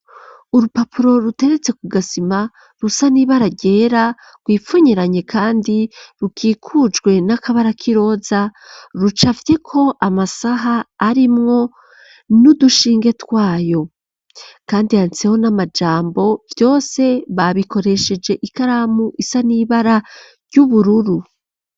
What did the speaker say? Urupapuro, ruteretse ku gasima, rusa n'ibara ryera, rwipfunyiranye; kandi, rukikujwe n'akabara k'iroza, rucafyeko amasaha, arimwo n'udushinge twayo; kandi yantseho, n'amajambo; vyose, babikoresheje ikaramu, isa n'ibara ry'ubururu.